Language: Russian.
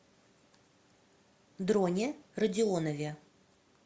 дроне родионове